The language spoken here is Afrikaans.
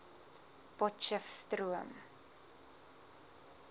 potchestroom